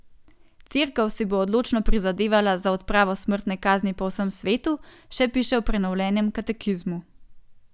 Cerkev si bo odločno prizadevala za odpravo smrtne kazni po vsem svetu, še piše v prenovljenem katekizmu.